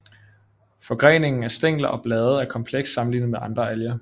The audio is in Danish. Forgreningen af stængler og blade er kompleks sammenlignet med andre alger